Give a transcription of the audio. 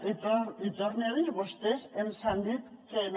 i ho torne a dir vostès ens han dit que no